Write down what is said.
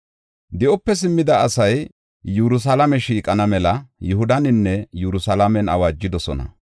Di7ope simmida asay Yerusalaame shiiqana mela, Yihudaninne Yerusalaamen awaajidosona.